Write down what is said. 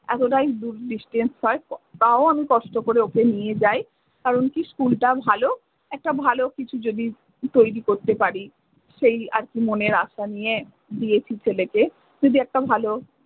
এতটাই দূর distantce হয় প~ তাও আমি কষ্ট করে ওকে নিয়ে যাই। কারণ কী সকল টা ভালো। একটা ভালো কিছু যদি তৈরী করতে পারি। সেই আর কী মনের আশা নিয়ে